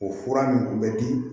O fura nin bɛ di